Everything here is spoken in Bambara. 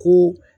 Ko